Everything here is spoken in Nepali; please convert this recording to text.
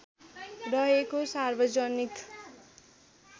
रहेको सार्वजनिक